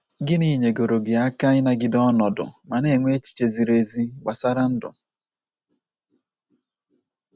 Gịnị nyegoro gị aka ịnagide ọnọdụ ma na - enwe echiche ziri ezi gbasara ndụ? ”